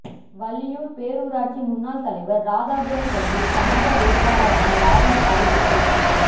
வள்ளியூர் பேரூராட்சி முன்னாள் தலைவர் ராதாபுரம் தொகுதி சமக வேட்பாளராக லாரன்ஸ் அறிவிப்பு